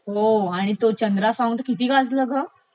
हो आणि तो चंद्रा सॉंग किती गाजल ग